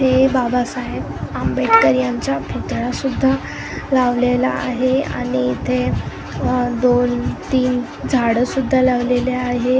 बाबासाहेब आंबेडकर यांचा पुतळा सुद्धा लावलेला आहे आणि इथे अह दोन तीन झाडं सुद्धा लावलेले आहे.